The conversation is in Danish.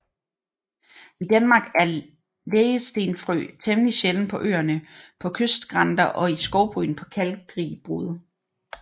I Danmark er lægestenfrø temmelig sjælden på Øerne på kystskrænter og i skovbryn på kalkrig bund